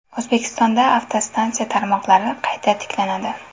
O‘zbekistonda avtostansiya tarmoqlari qayta tiklanadi.